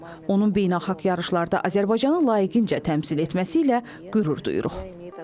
Onun beynəlxalq yarışlarda Azərbaycanı layiqincə təmsil etməsi ilə qürur duyuruq.